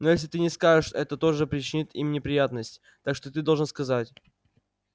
но если ты не скажешь это тоже причинит им неприятность так что ты должен сказать